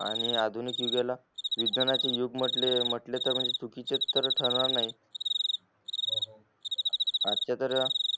आणि आधुनिक युगाला विज्ञाच्या युग म्हंटले त चुकीचे च तर ठरणार नाही आज च्या तर